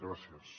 gràcies